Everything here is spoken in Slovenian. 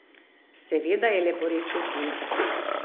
Seveda je leporečil puncam.